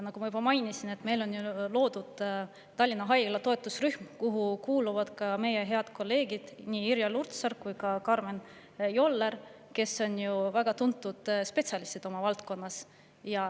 Nagu ma juba mainisin, meil on loodud Tallinna Haigla toetusrühm, kuhu kuuluvad ka meie head kolleegid Irja Lutsar ja Karmen Joller, kes on ju väga tuntud spetsialistid oma valdkonnas.